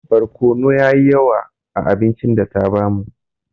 Barkono yayi yawa a abincin data bamu